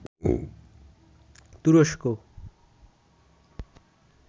তুরস্ক